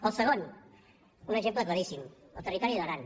el segon un exemple claríssim el territori d’aran